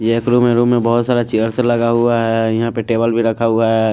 एक रूम है रूम मे बहोत सारे चेयर्स लगा हुआ है टेबल भी रखा हुआ है।